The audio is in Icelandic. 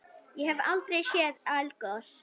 Ég hef aldrei séð eldgos.